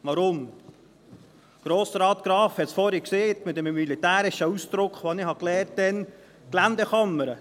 Warum: Grossrat Graf hat es vorhin gesagt, mit dem militärischen Ausdruck «Geländerkammern», den ich damals gelernt habe.